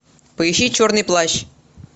поищи черный плащ